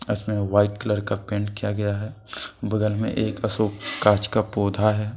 White colour का paint किया गया है बगल में एक अशोक कांच का पौधा है।